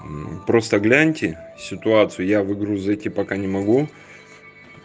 просто гляньте ситуация в игру зайти пока не могу